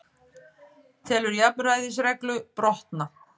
Telur jafnræðisreglu brotna